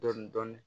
Dɔɔnin dɔɔnin